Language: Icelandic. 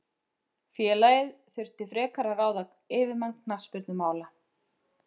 Félagið þurfi frekar að ráða yfirmann knattspyrnumála.